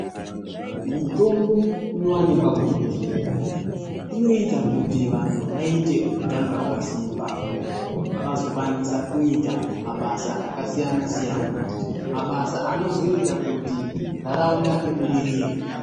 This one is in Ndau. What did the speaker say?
Mitombo inowanikwa kuzvibhedhlera, inoita kuti vanhu vaite utano hwakasimba . Vazokwanisa kuita mabasa akasiyana siyana. Mabasa anozoita kuti nharaunda ibudirire.